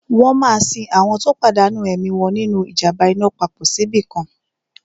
Wọ́n máa sin àwọn tó pàdánù ẹ̀mí wọn nínu ìjàm̀ba iná papọ̀ síbìkan